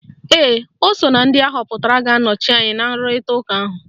Ee, ọ so na ndị ahọpụtara ga-anọchite anyị na asọmpi nrụrịta ụka ahụ.